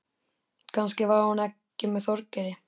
Kannski var hún ekki með Þorgeiri.